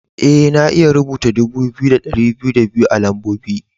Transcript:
Ee, na iya rubuta dubu biyu da dari biyu da biyu a'lambobi.